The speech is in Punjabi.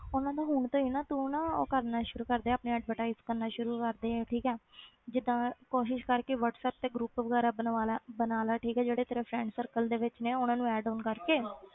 ਉਹਨਾਂ ਨੂੰ ਹੁਣ ਤੋਂ ਹੀ ਨਾ ਤੂੰ ਨਾ ਉਹ ਕਰਨਾ ਸ਼ੁਰੂ ਕਰਦੇ ਆਪਣੀ advertise ਕਰਨਾ ਸ਼ੁਰੂ ਕਰਦੇ ਠੀਕ ਹੈ ਜਿੱਦਾਂ ਕੋਸ਼ਿਸ਼ ਕਰ ਕਿ ਵਾਟਸੈਪ ਤੇ group ਵਗ਼ੈਰਾ ਬਣਵਾ ਲੈ ਬਣਾ ਲੈ ਠੀਕ ਹੈ ਜਿਹੜੇ ਤੇਰੇ friend circle ਦੇ ਵਿੱਚ ਨੇ ਉਹਨਾਂ ਨੂੰ add on ਕਰਕੇ